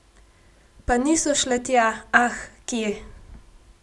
Pa niso šle tja, ah, kje!